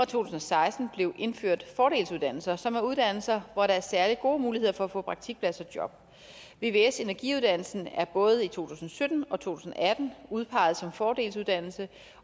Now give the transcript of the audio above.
tusind og seksten blev indført fordelsuddannelser som er uddannelser hvor der er særlig gode muligheder for at få praktikplads og job vvs energiuddannelsen er både i to tusind og sytten og to tusind og atten udpeget som fordelsuddannelse